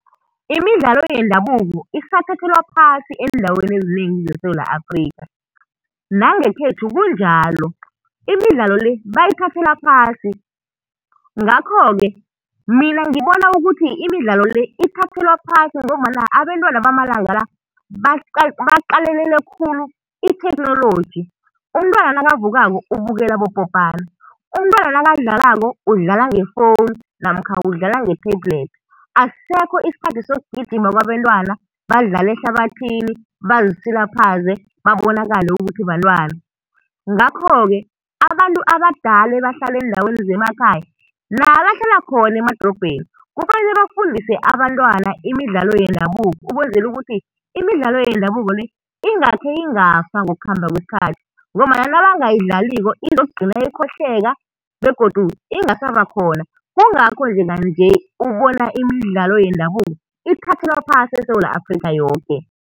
Imidlalo yendabuko isathathelwa phasi eendaweni ezinengi zeSewula Afrikha. Nangekhethu kunjalo, imidlalo le bayithathela phasi. Ngakho-ke mina ngibona ukuthi imidlalo le ithathelwa phasi ngombana abentwana bamalanga la baqalelele khulu itheknoloji. Umntwana nakavukako ubukela abopopana, umntwana nakadlalako udlala ngefowunu namkha udlala nge-tablet. Asisekho isikhathi sokugijima kwabentwana, badlale ehlabathini, bazisilaphaze babonakale ukuthi bantwana. Ngakho-ke abantu abadala ebahlala eendaweni zemakhaya nabo abahlala khona emadorobheni kufanele bafundise abantwana imidlalo yendabuko ukwenzela ukuthi imidlalo yendabuko le ingakhe ingafa ngokukhamba kwesikhathi ngombana nabangayidlaliko izokugcina ikhohlweka begodu ingasaba khona, kungakho njenga-nje ubona imidlalo yendabuko ithathelwa phasi eSewula Afrikha yoke.